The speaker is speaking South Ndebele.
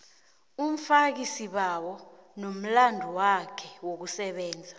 umfakisibawo nomlandwakhe wokusebenza